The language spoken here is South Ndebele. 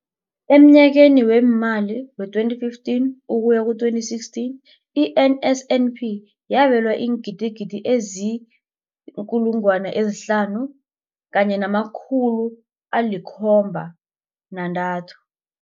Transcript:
Emnyakeni weemali we-2015 ukuya ku-2016, i-NSNP yabelwa iingidigidi ezi-5 703